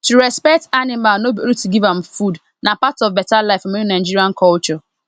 to respect animal no be only to give am foodna part of better life for many nigerian culture